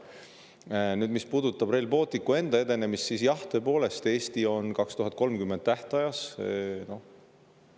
Mis puudutab Rail Balticu enda edenemist, siis tõepoolest, Eesti on selles 2030. aasta tähtaja.